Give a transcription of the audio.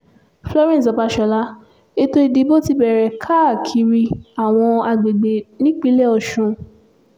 florence babasola ètò ìdìbò ti bẹ̀rẹ̀ káàkiri àwọn àgbègbè nípínlẹ̀ ọ̀sùn